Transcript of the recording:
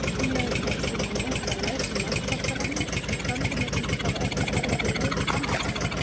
Framleiðendur hafa stundum reynt að læsa margfaldaranum, en tölvunotendur hafa oftast fundið leið framhjá slíku.